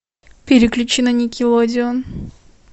переключи на никелодеон